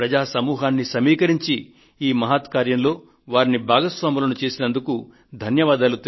ప్రజాశక్తిని సమీకరించి ఈ మహత్ కార్యంలో వారిని భాగస్వాములను చేసినందుకు ధన్యవాదాలు